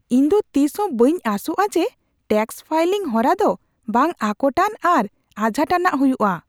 ᱤᱧ ᱫᱚ ᱛᱤᱥᱦᱚᱸ ᱵᱟᱹᱧ ᱟᱥᱚᱜᱼᱟ ᱡᱮ ᱴᱮᱹᱠᱥ ᱯᱷᱟᱭᱞᱤᱝ ᱦᱚᱨᱟ ᱫᱚ ᱵᱟᱝ ᱟᱠᱚᱴᱟᱱ ᱟᱨ ᱟᱡᱷᱟᱴ ᱟᱱᱟᱜ ᱦᱩᱭᱩᱜᱼᱟ ᱾